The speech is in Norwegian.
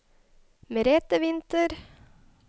Merethe Winther